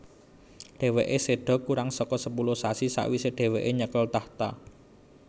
Dhèwèké séda kurang saka sepuluh sasi sawisé dhèwèké nyekel tahta